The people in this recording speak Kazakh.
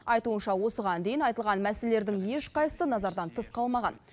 айтуынша осыған дейін айтылған мәселелердің ешқайсысы назардан тыс қалмаған